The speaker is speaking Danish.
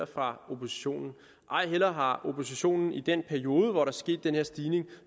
fra oppositionen ej heller har oppositionen i den periode hvor der er sket den her stigning